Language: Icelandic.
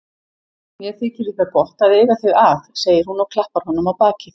Mér þykir líka gott að eiga þig að, segir hún og klappar honum á bakið.